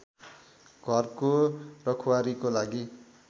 घरको रखवारीको लागि